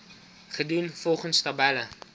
gedoen volgens tabelle